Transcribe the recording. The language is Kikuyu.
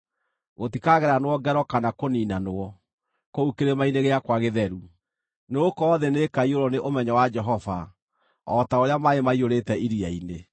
Gũtikageranwo ngero kana kũniinanwo, kũu kĩrĩma-inĩ gĩakwa gĩtheru, nĩgũkorwo thĩ nĩĩkaiyũrwo nĩ ũmenyo wa Jehova, o ta ũrĩa maaĩ maiyũrĩte iria-inĩ.